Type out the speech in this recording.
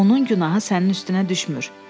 Onun günahı sənin üstünə düşmür.